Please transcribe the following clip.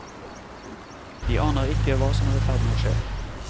De aner ikke hva som er i ferd med å skje.